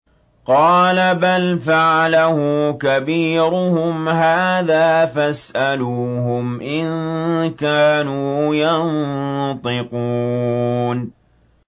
قَالَ بَلْ فَعَلَهُ كَبِيرُهُمْ هَٰذَا فَاسْأَلُوهُمْ إِن كَانُوا يَنطِقُونَ